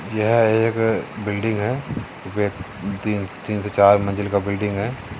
यह एक बिल्डिंग है वे तीन से चार मंजिल का बिल्डिंग है।